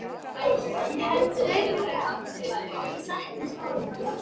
Ég held, svei mér þá, að ég sakni skólans.